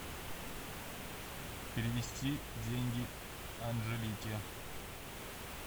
перевести деньги анжелике